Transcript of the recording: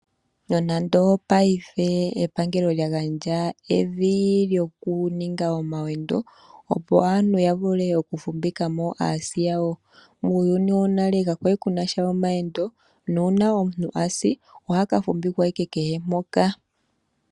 Nonando paife epangelo lyagandja evi lyokuninga omayendo opo aantu yavule okufumbika mo aasi yawo, muuyuni wo nale kakwali ku nasha omayendo nuuna omuntu asi oha ka fumbikwa ashike kehe mpoka.